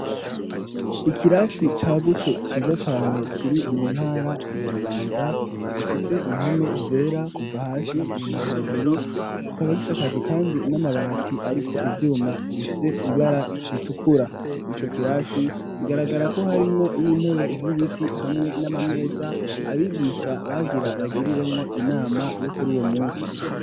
Ikirasi cagutse ciza cane kiri mu ntara ya Bubanza gifise impome zera kuva hasi gushika hejuru kikaba gisekajwe kandi n'amabati ariko ivyuma bifise ibara ritukura ico kirasi bigaragara ko harimwo n'intebe z'ibiti hamwe n'amameza abigisha bagira bagiriremwo inama yokuri uwo munsi.